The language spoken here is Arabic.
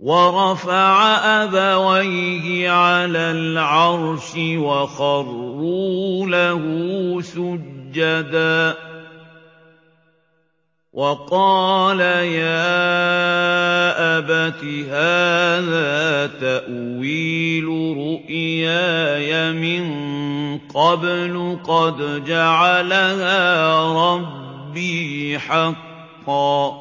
وَرَفَعَ أَبَوَيْهِ عَلَى الْعَرْشِ وَخَرُّوا لَهُ سُجَّدًا ۖ وَقَالَ يَا أَبَتِ هَٰذَا تَأْوِيلُ رُؤْيَايَ مِن قَبْلُ قَدْ جَعَلَهَا رَبِّي حَقًّا ۖ